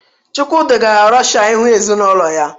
Chukwudi gara Rọshịa ịhụ ezinụlọ ya